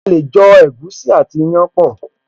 A lè jọ ẹ̀gúsí àti ìyàn papọ̀